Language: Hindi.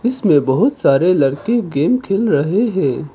इसमें बहुत सारे लड़के गेम खेल रहे हैं।